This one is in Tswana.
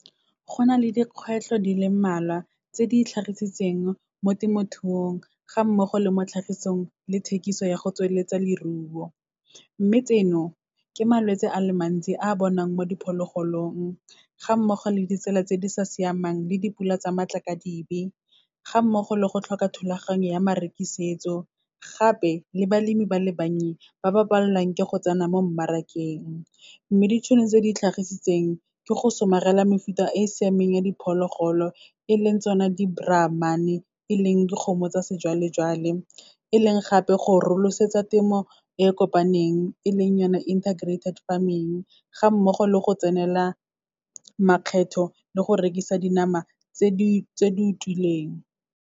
Go na le dikgwetlho di le mmalwa tse di itlhagisitseng mo temothuong, ga mmogo le mo tlhagisong le thekiso ya go tsweletsa leruo. Mme tseno, ke malwetse a le mantsi a bonang mo diphologolong, ga mmogo le ditsela tse di sa siamang le dipula tsa matlakadibe, ga mmogo le go tlhoka thulaganyo ya marekisetso, gape le balemi ba le bannye, ba ba palelwang ke go tsena mo mmarakeng. Mme ditšhono tse di itlhagisitseng, ke go somarela mefuta e siameng ya diphologolo, e leng tsona di-Brahman-e e leng dikgomo tsa sejwalejwale, e leng gape go rolosetsa temo e kopaneng, e leng yona intergrated farming. Ga mmogo le go tsenela makgetho le go rekisa dinama tse di utlwileng.